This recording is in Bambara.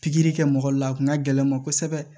Pikiri kɛ mɔgɔ la a kun ka gɛlɛn n ma kosɛbɛ